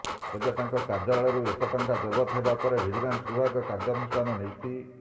ତେବେ ତାଙ୍କ କାର୍ଯ୍ୟାଳୟରୁ ଏତେ ଟଙ୍କା ଜବତ ହେବା ପରେ ଭିଜିଲାନ୍ସ ବିଭାଗ କାର୍ଯ୍ୟାନୁଷ୍ଠାନ ନେଇଛି